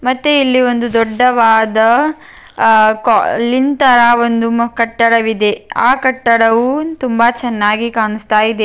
ಮತ್ತೆ ಇಲ್ಲಿ ಒಂದು ದೊಡ್ಡವಾದ ಅಹ್ ಕ ಲಿಂತರ ಒಂದು ಮ ಕಟ್ಟಡವಿದೆ ಆ ಕಟ್ಟಡವು ತುಂಬಾ ಚೆನ್ನಾಗಿ ಕಾಣುಸ್ತಾ ಇದೆ.